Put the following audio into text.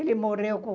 Ele morreu com...